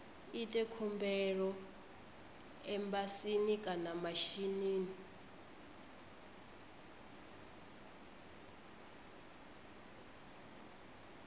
ite khumbelo embasini kana mishinini